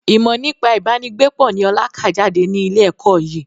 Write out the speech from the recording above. Ìmọ nípa ibà ni gbé pọ̀ ni ọ̀la ká jáde ní ilé ẹ̀kọ́ yìí